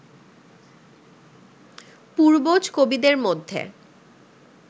পূর্বজ কবিদের মধ্যে